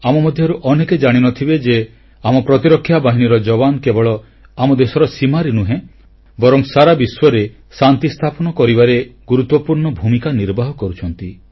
ଆମ ମଧ୍ୟରୁ ଅନେକ ଜାଣିନଥିବେ ଯେ ଆମ ପ୍ରତିରକ୍ଷା ବାହିନୀର ଯବାନ କେବଳ ଆମ ଦେଶ ସୀମାରେ ନୁହେଁ ବରଂ ସାରା ବିଶ୍ୱରେ ଶାନ୍ତି ସ୍ଥାପନ କରିବାରେ ଗୁରୁତ୍ୱପୂର୍ଣ୍ଣ ଭୂମିକା ନିର୍ବାହ କରୁଛନ୍ତି